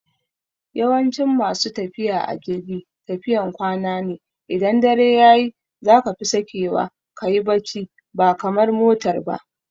Yawancin masu tafiya a jirgi tafiyan kwana ne, idan dare yayi zaka fi sakewa kayi bacci ba kamar motar ba